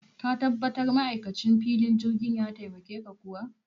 Ka tabbatar ma'aikacin filin jirgin ya taimake ka kuwa?